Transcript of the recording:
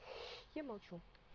я молчу